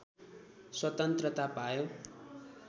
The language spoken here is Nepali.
स्वतन्त्रता पायो